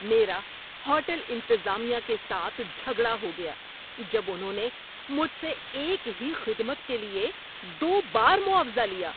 میرا ہوٹل انتظامیہ کے ساتھ جھگڑا ہو گیا جب انہوں نے مجھ سے ایک ہی خدمت کے لیے دو بار معاوضہ لیا۔